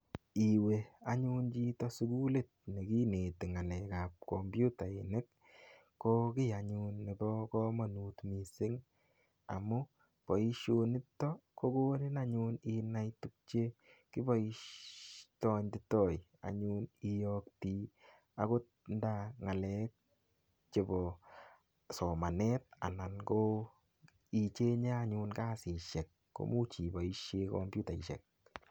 Iwe anyun chito sugulit ne kineti ng'alekab komputainik, ko kiy anyun nebo kamanut mising amu boisionito kokonin anyun inai tukche kiboitoi anyun iyokte agot nda ng'alek chebo somanet anan koicheng'e anyun kasisiek, komuch iboisie komputaisiek.